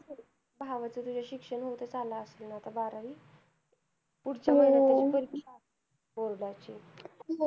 भावाचं तुझ्या शिक्षण होतं चं आलं असेल ना आता बारावी. पुढच्या महिन्यात त्याची परीक्षा असेल board ची.